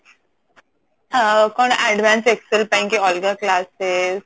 ଅ କଣ advance excel ପାଇଁ କି ଅଲଗା classes